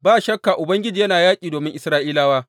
Ba shakka Ubangiji yana yaƙi domin Isra’ilawa.